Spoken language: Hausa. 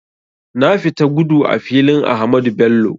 Na fita gudu a filin Ahmadu Bello